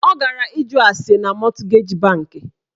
Ọ gara ịjụ ase na mọtgeji bankị